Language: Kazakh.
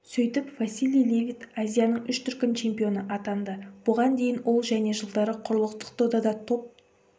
сөйтіп василий левит азияның үш дүркін чемпионы атанды бұған дейін ол және жылдары құрлықтық додада топ